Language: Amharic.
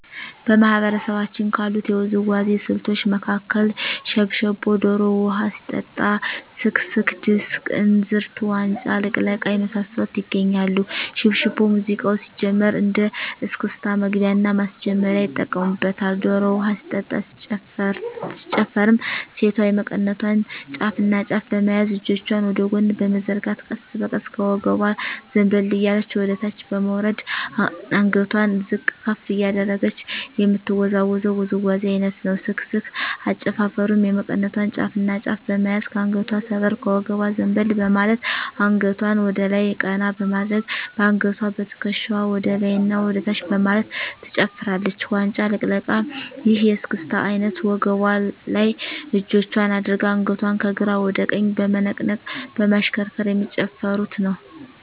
በማህበረሰባችን ካሉት የውዝዋዜ ስልቶች መካከል ሽብሻቦ ዶሮ ውሀ ሲጠጣ ስክስክ ድስቅ እንዝርት ዋንጫ ልቅለቃ የመሳሰሉት ይገኛሉ። ሽብሻቦ ሙዚቃው ሲጀምር እንደ እስክስታ መግቢያና ማስጀመሪያ ይጠቀሙበታል። ዶሮ ውሀ ሲጠጣ ሲጨፈርም ሴቷ የመቀነቷን ጫፍና ጫፍ በመያዝ እጆቿን ወደ ጎን በመዘርጋት ቀስ በቀስ ከወገቧ ዘንበል እያለች ወደታች በመውረድ አንገቷን ዝቅ ከፍ እያደረገች የምትወዛወዘው ውዝዋዜ አይነት ነው። ስክስክ አጨፋፈሩም የመቀነቷን ጫፍና ጫፍ በመያዝ ከአንገቷ ሰበር ከወገቧ ዘንበል በማለት አንገቷን ወደላይ ቀና በማድረግ በአንገትዋና በትክሻዋ ወደላይና ወደታች በማለት ትጨፍራለች። ዋንጫ ልቅለቃ ይህ የእስክስታ አይነት ወገቧ ላይ እጆቿን አድርጋ አንገቷን ከግራ ወደ ቀኝ በመነቅነቅ በማሽከርከር የሚጨፍሩት ነው።